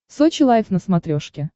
сочи лайв на смотрешке